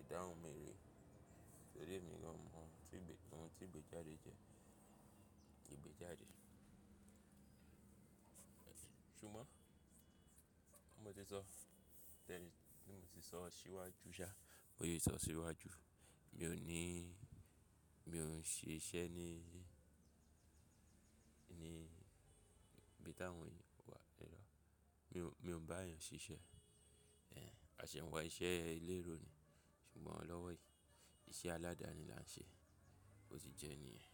ìdáhùn mi rè, tórí èmi náà ò mò tí ìgbẹ́, ohun tí ìgbéjáde jẹ́. Ìgbéjáde. Ṣùgbọ́n bí mo ti sọ, tẹrí bí mo ti sọ síwájú sá, mo se sọ síwájú. Mí ò ní, mi ò ṣe iṣẹ́ ní ibi tí àwọn ìyókù wà mi ò bá èèyàn ṣíṣe. A ṣé ń wà iṣẹ́ elérò ni. Ṣùgbọ́n lọ́wọ́ yìí, iṣẹ́ aládani la ń ṣe, ó ti jẹ́ niyen.